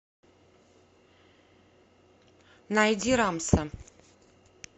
найди рамса